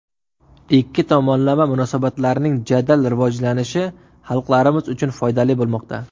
Ikki tomonlama munosabatlarning jadal rivojlanishi xalqlarimiz uchun foydali bo‘lmoqda.